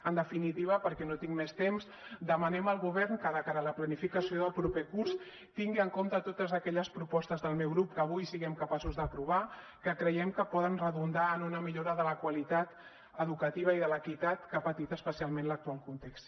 en definitiva perquè no tinc més temps demanem al govern que de cara a la planificació del proper curs tingui en compte totes aquelles propostes del meu grup que avui siguem capaços d’aprovar que creiem que poden redundar en una millora de la qualitat educativa i de l’equitat que ha patit especialment l’actual context